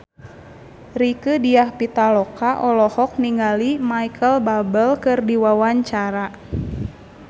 Rieke Diah Pitaloka olohok ningali Micheal Bubble keur diwawancara